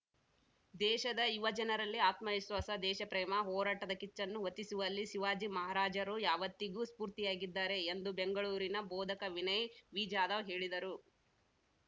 ದೇಶದ ಯುವ ಜನರಲ್ಲಿ ಆತ್ಮವಿಶ್ವಾಸ ದೇಶಪ್ರೇಮ ಹೋರಾಟದ ಕಿಚ್ಚನ್ನು ಹೊತ್ತಿಸುವಲ್ಲಿ ಶಿವಾಜಿ ಮಹಾರಾಜರು ಯಾವತ್ತಿಗೂ ಸ್ಪೂರ್ತಿಯಾಗಿದ್ದಾರೆ ಎಂದು ಬೆಂಗಳೂರಿನ ಬೋಧಕ ವಿನಯ್‌ ವಿಜಾಧವ್‌ ಹೇಳಿದರು